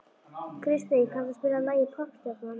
Kristey, kanntu að spila lagið „Poppstjarnan“?